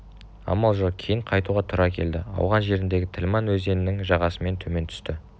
амал жоқ кейін қайтуға тура келді ауған жеріндегі тілман өзенінің жағасымен төмен түсті